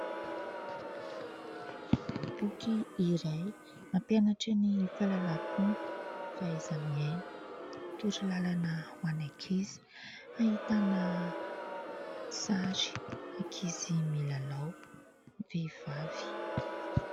Boky iray mampianatran' ny falalam-pomba, fahaiza miaina, toro lalana ho an'ny ankizy. Ahitana sarin'ankizy milalao vehivavy.